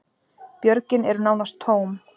Björgin eru nánast tóm